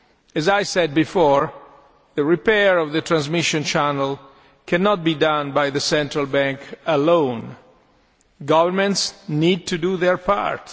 As I said before, the repair of the transmission channel cannot be done by the central bank alone governments need to do their part.